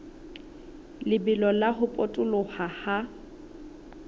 lebelo la ho potoloha ha